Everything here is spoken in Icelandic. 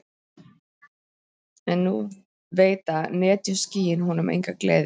En nú veita netjuskýin honum enga gleði.